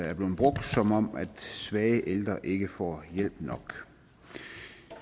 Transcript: er blevet brugt som om svage ældre ikke får hjælp nok